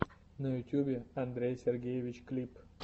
на ютубе андрей сергеевич клип